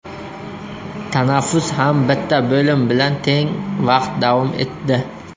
Tanaffus ham bitta bo‘lim bilan teng vaqt davom etdi.